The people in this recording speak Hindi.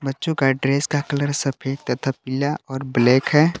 बच्चों का ड्रेस का कलर सफेद तथा पीला और ब्लैक है।